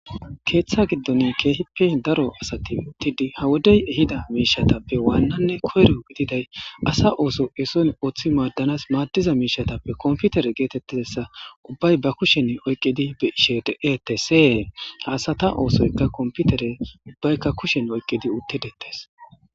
keeththa giddon keehipe daro asati uttidi ha wodey ehida miishatappe waannanne koyro gididay asa ooso eson ooththi maaddanas maaddiza miishatappe komfutere geetettidessa ubbay ba kushen oyqqidi e ishedeetesee haasata oosoyka komputere ubbaykka kushen oyqqidi uttidettes